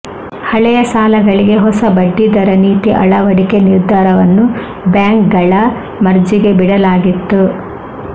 ಹಳೆಯ ಸಾಲಗಳಿಗೆ ಹೊಸ ಬಡ್ಡಿ ದರ ನೀತಿ ಅಳವಡಿಕೆ ನಿರ್ಧಾರವನ್ನು ಬ್ಯಾಂಕ್ಗಳ ಮರ್ಜಿಗೆ ಬಿಡಲಾಗಿತ್ತು